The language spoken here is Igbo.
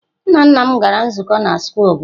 Nna nna m gara nzukọ na square obodo.